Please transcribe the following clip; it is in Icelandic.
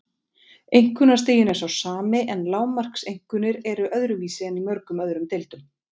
Einkunnastiginn er sá sami en lágmarkseinkunnir eru öðruvísi en í mörgum öðrum deildum.